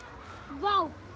vá það